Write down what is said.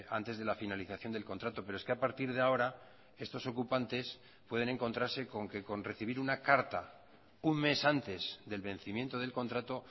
antes de la finalización del contrato pero es que a partir de ahora estos ocupantes pueden encontrarse con que con recibir una carta un mes antes del vencimiento del contrato